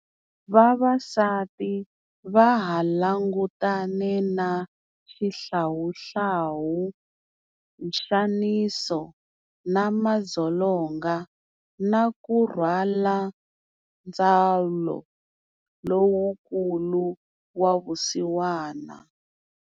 Vavasati vaha langutane na xihlawuhlawu, nxaniso na madzolonga, na ku rhwala ndzhwalo lowukulu wa vusiwana.